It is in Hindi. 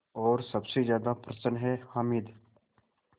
और सबसे ज़्यादा प्रसन्न है हामिद